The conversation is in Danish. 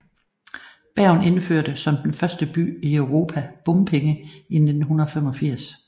Bergen indførte som den første by i Europa bompenge i 1985